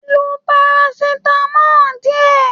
Lo parasitamọ diẹ!